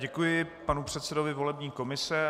Děkuji panu předsedovi volební komise.